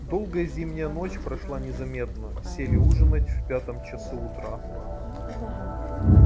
долгая зимняя ночь прошла незаметно сели ужинать в пятом часу утра